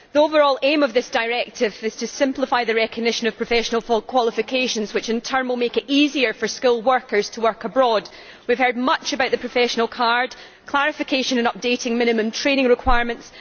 The overall aim of this directive is to simplify the recognition of professional qualifications, which in turn will make it easier for skilled workers to work abroad. We have heard much about the professional card, clarification and updating of minimum training requirements.